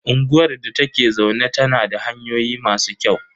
Unguwar da ta ke zaune tana da hanyoyi masu kyau.